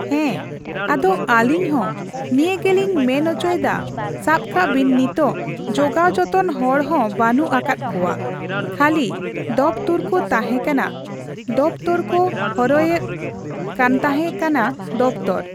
ᱦᱮᱸ ᱟᱫᱚ ᱟᱹᱞᱤᱧ ᱦᱚᱸ ᱱᱤᱭᱟᱹᱜᱮᱞᱤᱧ ᱢᱮᱱ ᱚᱪᱚᱭᱮᱫᱟ ᱥᱟᱵᱠᱟᱜᱵᱮᱱ ᱱᱤᱛᱚᱜ ᱡᱚᱜᱟᱣ ᱡᱚᱛᱚᱱ ᱦᱚᱲᱦᱚᱸ ᱵᱟᱹᱱᱩᱜ ᱟᱠᱟᱫ ᱠᱚᱣᱟ ᱠᱷᱟᱞᱤᱫᱚᱯᱛᱚᱨᱠᱩ ᱛᱟᱦᱮᱸᱠᱟᱱᱟ ᱫᱚᱯᱛᱚᱨᱠᱚᱦᱚᱨᱦᱚᱭᱮᱫ ᱠᱟᱱᱛᱟᱦᱮᱸ ᱠᱟᱱᱟ ᱫᱚᱯᱛᱚᱨᱯᱚᱨ᱾